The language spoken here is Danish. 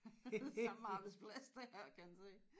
Samme arbejdsplads det kan man sige